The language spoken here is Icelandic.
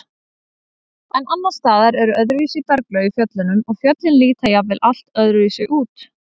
En annars staðar eru öðruvísi berglög í fjöllunum og fjöllin líta jafnvel allt öðruvísi út.